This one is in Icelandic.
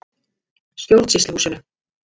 Stjórnsýsluhúsinu